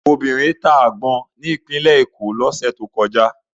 Obìnrin ta àgbọn ní Ìpínlẹ̀ Èkó lọ́sẹ̀ tó kọjá.